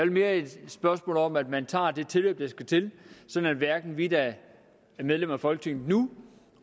mere et spørgsmål om at man tager det tilløb der skal til sådan at hverken vi der er medlemmer af folketinget nu